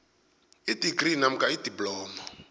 idigri namkha idiploma